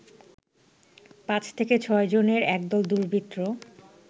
৫ থেকে ৬ জনের একদল দুর্বৃত্ত